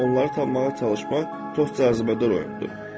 onları tapmağa çalışmaq çox cazibədar oyundur.”